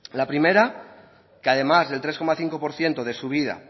la primera que además del tres coma cinco por ciento de subida